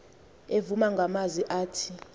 evuma ngamazwi athi